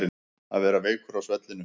Að vera veikur á svellinu